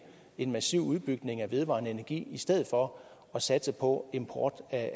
en massiv udbygning af vedvarende energi i stedet for at satse på import af